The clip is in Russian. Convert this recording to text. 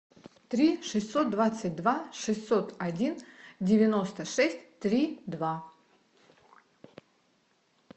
три шестьсот двадцать два шестьсот один девяносто шесть три два